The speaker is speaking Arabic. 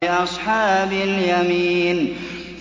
لِّأَصْحَابِ الْيَمِينِ